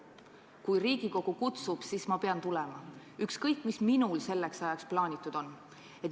Kui Riigikogu kutsub, siis ma pean tulema, ükskõik, mis minul selleks ajaks plaanitud on.